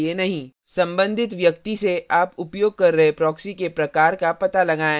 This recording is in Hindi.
संबंधित व्यक्ति से आप उपयोग कर रहे proxy के प्रकार का पता लगाएँ